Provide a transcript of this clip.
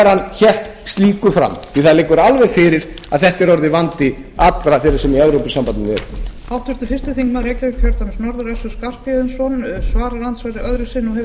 hann hélt slíku fram því það liggur alveg fyrir að þetta er orðinn vandi allra sem í evrópusambandinu eru